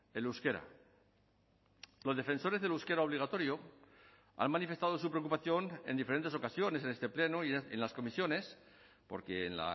el euskera los defensores del euskera obligatorio han manifestado su preocupación en diferentes ocasiones en este pleno y en las comisiones porque en